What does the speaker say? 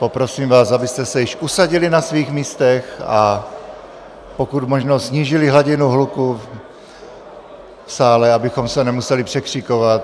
Poprosím vás, abyste se již usadili na svých místech a pokud možno snížili hladinu hluku v sále, abychom se nemuseli překřikovat.